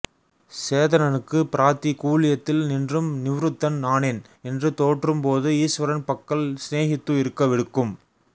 சேதனனுக்கு ப்ராதி கூல்யத்தில் நின்றும் நிவ்ருத்தன் ஆனேன் என்று தோற்றும் போது ஈஸ்வரன் பக்கல் ஸ்நேஹித்து இருக்க விடுக்கும்